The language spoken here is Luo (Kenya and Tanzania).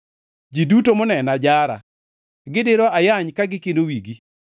Ji duto monena jara; gidiro ayany ka gikino wigi.